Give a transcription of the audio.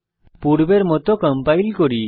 পূর্বের মত কম্পাইল করি